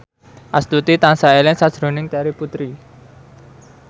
Astuti tansah eling sakjroning Terry Putri